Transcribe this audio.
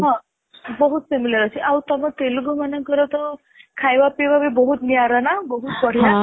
ହଁ ବହୁତ similar ଅଛି.ଆଉ ତୁମ ତେଲୁଗୁ ମାନଙ୍କର ତ ଖାଇବା ପିଇବା ବି ବହୁତ ନିଆରା ନା ବହୁତ ବଢିଆ